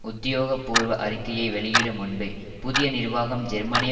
உத்தியோகபூர்வ அறிக்கையை வெளியிடும் முன்பே புதிய நிர்வாகம் ஜெர்மனிய